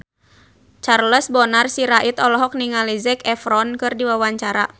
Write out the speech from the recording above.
Charles Bonar Sirait olohok ningali Zac Efron keur diwawancara